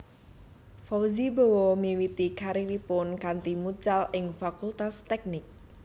Fauzi Bowo miwiti kariripun kanthi mucal ing Fakultas Teknik